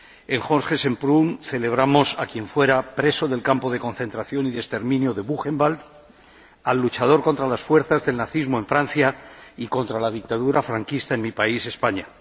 En Jorge Semprún celebramos a quien fuera preso en el campo de concentración y de exterminio de Buchenwald, al luchador contra las fuerzas del nazismo en Francia y contra la dictadura franquista en mi país, España.